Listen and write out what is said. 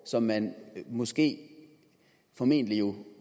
som man måske formentlig jo